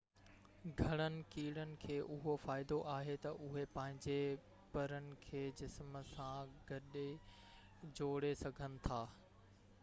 گهڻن ڪيڙن کي اهو فائدو آهي تہ اهي پنهنجي پرن کي جسم سان گڏ جوڙي سگهن ٿا